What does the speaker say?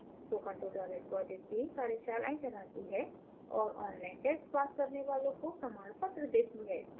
spoken tutorial project team कार्यशालाएं चलाती है और online test pass करने वालों को प्रमाणपत्र देती है